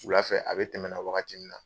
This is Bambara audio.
Wula fɛ a bɛ tɛmɛ na wagati min na